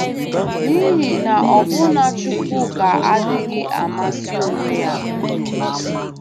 N'ihi na ọbụna Chukwuka adịghị amasị onwe ya...